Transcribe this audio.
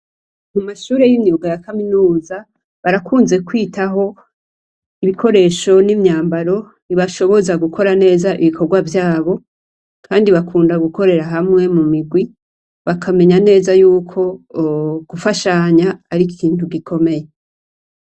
Mu mashure y'imyuga ya kaminuza barakunze kwitaho ibikoresho n'imyambaro bibashoboza gukora neza ibikorwa vyabo, kandi bakunda gukorera hamwe mu migwi bakamenya neza yuko gufashanya ari ikintu gikomeye.